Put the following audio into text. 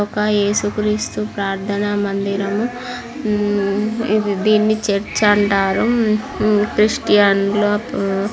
ఒక యేసు క్రీస్తు ప్రార్థన మందిరం. దీన్ని చర్చ్ అంటారు. క్రిస్టీయన్లు--